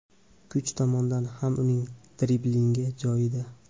Kuch tomondan ham uning driblingi joyida.